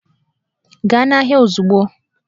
Gaa n'ahịa ozugbo!